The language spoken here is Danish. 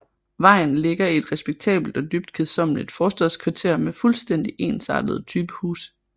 Vejen ligger i et respektabelt og dybt kedsommeligt forstadskvarter med fuldstændigt ensartede typehuse